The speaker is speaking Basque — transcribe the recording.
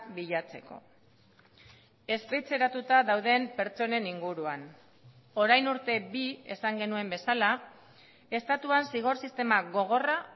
bilatzeko espetxeratuta dauden pertsonen inguruan orain urte bi esan genuen bezala estatuan zigor sistema gogorra